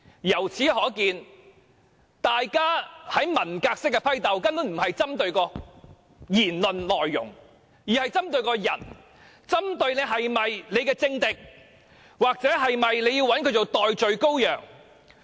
由此可見，大家文革式的批鬥，根本並非針對言論的內容，而是針對個人，針對他是否政敵，或是否要找他當代罪羔羊。